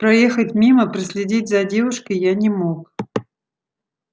проехать мимо проследить за девушкой я не мог